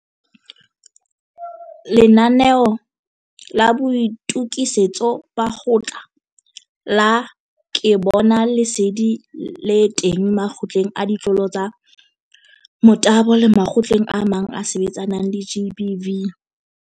Lenanaeo la Boitokisetso ba Kgotla la Ke Bona Lesedi le teng Makgotleng a Ditlolo tsa Motabo le makgotleng a mang a a sebetsanang le GBV.